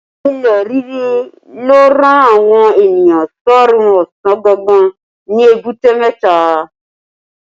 Ilẹ̀ ríri ló rán àwọn ènìyàn sọ́rún ọ̀sán gangan ní Èbúté mẹ́ta